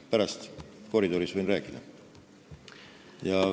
Pärast koridoris võin rääkida.